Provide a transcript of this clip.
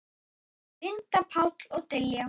Linda, Páll og Diljá.